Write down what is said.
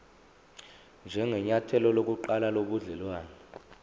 njengenyathelo lokuqala lobudelwane